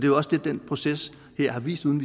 jo også det den proces her har vist uden